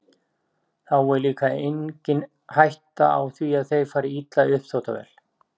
Þá er líka engin hætta á því að þeir fari illa í uppþvottavél.